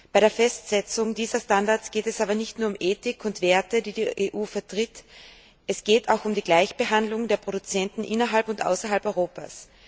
Bei der Festsetzung dieser Standards geht es aber nicht nur um Ethik und Werte, die die EU vertritt, es geht auch um die Gleichbehandlung der Produzenten innerhalb und außerhalb Europas.